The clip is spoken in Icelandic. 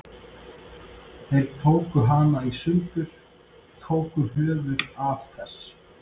Þeir tóku hana í sundur. tóku höfuðið af þess